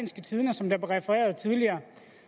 som blev refereret tidligere